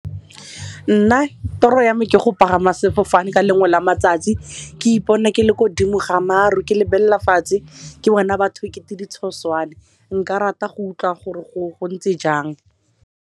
Nna toro ya me ke go pagama sefofane ka lengwe la matsatsi ke ipone ke le ko godimo ga maru ke lebelela fatshe ke bona batho ekete ditshoswane nka rata go utlwa gore go ntse jang.